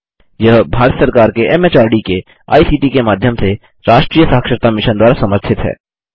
यह भारत सरकार के एमएचआरडी के आईसीटी के माध्यम से राष्ट्रीय साक्षरता मिशन द्वारा समर्थित है